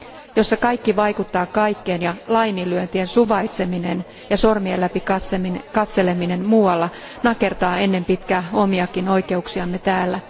jossa kaikki vaikuttaa kaikkeen ja laiminlyöntien suvaitseminen ja sormien läpi katseleminen muualla nakertaa ennen pitkää omiakin oikeuksiamme täällä.